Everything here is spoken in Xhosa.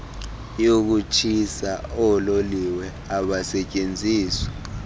yokutshisa oololiwe abasetyenziswa